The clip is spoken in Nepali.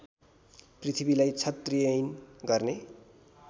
पृथ्वीलाई क्षत्रियहीन गर्ने